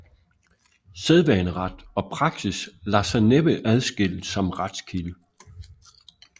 Sædvaneret og praksis lader sig næppe adskille som retskilde